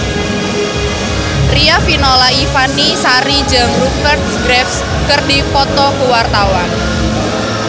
Riafinola Ifani Sari jeung Rupert Graves keur dipoto ku wartawan